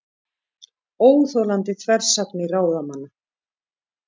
Óþolandi þversagnir ráðamanna